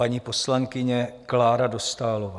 Paní poslankyně Klára Dostálová.